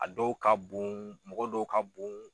A dɔw ka bon mɔgɔ dɔw ka bon.